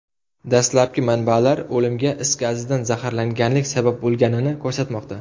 Dastlabki manbalar o‘limga is gazidan zaharlanganlik sabab bo‘lganini ko‘rsatmoqda.